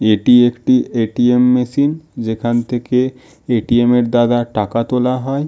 এটি একটি ATM. Machine. যেখান থেকে এ. টি. এম -এর দ্বারা টাকা তোলা হয়--